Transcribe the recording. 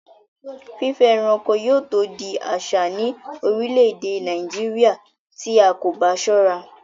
Fífẹ́ ẹranko yóò tó di àsà ní orílẹ̀-èdè Nàìjíríà tí a kò bá sọ́ra